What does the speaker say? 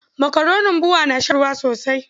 Makaronin BUA ya shan ruwa sosai.